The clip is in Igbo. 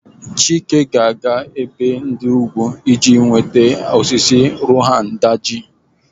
Chike ga-aga n'ebe ugwu iji nweta ụfọdụ osisi Rohan Daji.